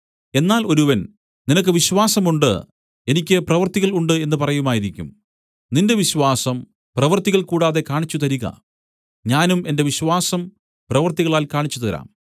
എന്നാൽ ഒരുവൻ നിനക്ക് വിശ്വാസം ഉണ്ട് എനിക്ക് പ്രവൃത്തികൾ ഉണ്ട് എന്ന് പറയുമായിരിക്കും നിന്റെ വിശ്വാസം പ്രവൃത്തികൾ കൂടാതെ കാണിച്ചുതരിക ഞാനും എന്റെ വിശ്വാസം പ്രവൃത്തികളാൽ കാണിച്ചുതരാം